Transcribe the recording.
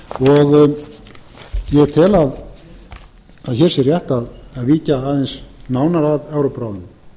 og ég tel að hér sé rétt að víkja aðeins nánar að evrópuráðinu